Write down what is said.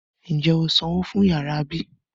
Ń jẹ́ ó sanwó fún yàrá bí?